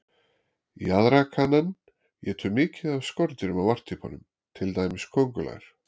Jaðrakaninn étur mikið af skordýrum á varptímanum, til dæmis köngulær.